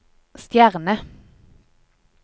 stjerne